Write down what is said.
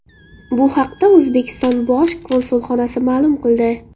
Bu haqda O‘zbekiston bosh konsulxonasi ma’lum qildi .